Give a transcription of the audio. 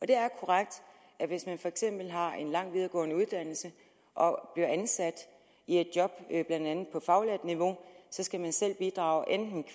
det er korrekt at hvis man for eksempel har en lang videregående uddannelse og bliver ansat i et job blandt andet på faglært niveau skal man selv bidrage enten